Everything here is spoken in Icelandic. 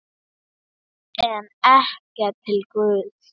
En ekki til Guðs.